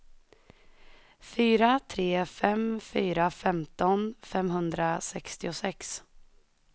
fyra tre fem fyra femton femhundrasextiosex